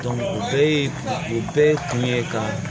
o bɛɛ ye o bɛɛ ye kun ye ka